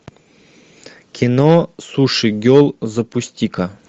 кино суши гел запусти ка